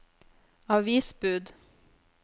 avisbud